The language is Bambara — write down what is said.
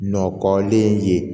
Nɔkɔlen ye